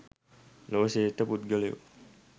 ලොව ශ්‍රේෂ්ඨ පුද්ගලයෝ